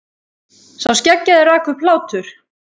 Sá skeggjaði rak upp hlátur.